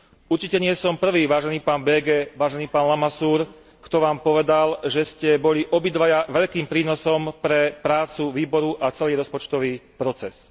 Určite nie som prvý, vážený pán Böge, vážený pán Lamassure, kto vám povedal, že ste boli obidvaja veľkým prínosom pre prácu výboru a celý rozpočtový proces.